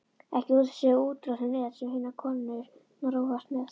Ekki þessi úttroðnu net sem hinar konurnar rogast með.